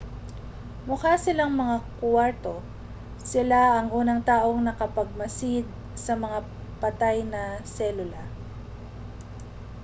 mukha silang mga kuwarto siya ang unang taong nakapagmasid sa mga patay na selula